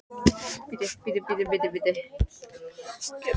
slíkur hlutur er í jafnvægi í ferskvatni og leitar hvorki upp né niður